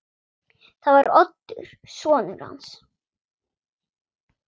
Það var Oddur sonur hans.